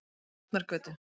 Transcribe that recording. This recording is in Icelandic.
Tjarnargötu